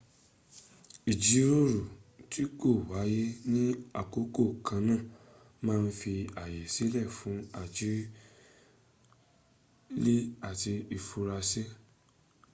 ijiroro ti ko waye ni akoko kanna ma n fi aye sile fun arojinle ati ifura si